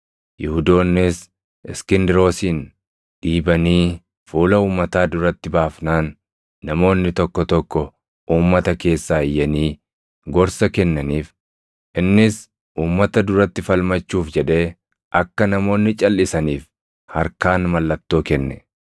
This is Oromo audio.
Yihuudoonnis Iskindiroosin dhiibanii fuula uummataa duratti baafnaan, namoonni tokko tokko uummata keessaa iyyanii gorsa kennaniif; innis uummata duratti falmachuuf jedhee akka namoonni calʼisaniif harkaan mallattoo kenne.